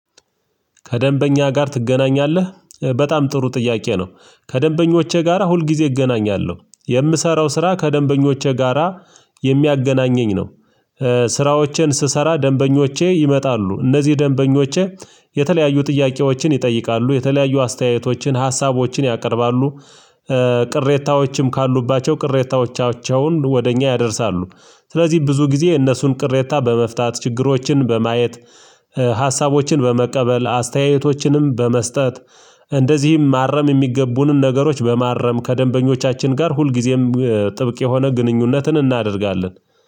ከደንበኛ ጋር ትገናኛለህ በጣም ጥሩ ጥያቄ ነው ከደንበኞቼ ጋራ ሁል ጊዜ እገናኛለሁ የምሰራው ስራ ከደንበኞቼ ጋራ የሚያገናኘኝ ነው። ስራዎቼን ስሰራ ደንበኞቼ ይመጣሉ እነዚህ ደንበኞቼ የተለያዩ ጥያቄዎችን ይጠይቃሉ የተለያዩ አስተያየቶችን ሀሳቦችን ያቀርባሉ። ቅሬታዎችም ካሉባቸው ቅሬታዎቻቸውን ወደ እኛ ያደርሳሉ። ስለዚህ ብዙ ጊዜ እነሱን ቅሬታ በመፍታት ችግሮችን በማየት ሀሳቦችን በመቀበል አስተያየቶችንም በመስጠት እንደዚህም ማረም የሚገቡንን ነገሮች በማረም ከደንበኞቻችን ጋር ሁልጊዜም ጥብቅ የሆነ ግንኙነትን እናደርጋለን።